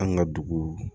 An ka dugu